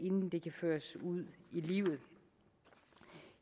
inden det kan føres ud i livet